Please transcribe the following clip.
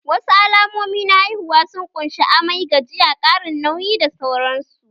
Wasu alamomi na haihuwa sun ƙunshi:- amai, gajiya, ƙarin nauyi da sauran su